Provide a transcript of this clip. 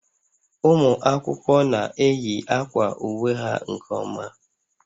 Ụmụ akwụkwọ na-eyi akwa uwe ha nke ọma